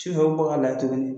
Sufɛ u bɛ bɔ k'a lajɛ tuguni